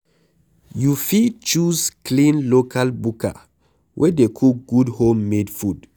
You fit choose clean local buka wey dey cook good home made food